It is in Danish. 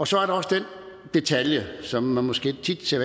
så er der også den detalje som man måske tit ser